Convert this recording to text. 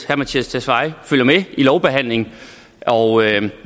herre mattias tesfaye følger med i lovbehandlingen